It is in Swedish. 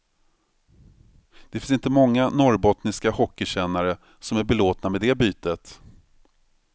Det finns inte många norrbottniska hockeykännare som är belåtna med det bytet.